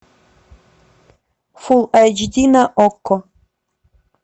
фулл айч ди на окко